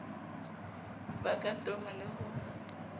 ka ba toma le ho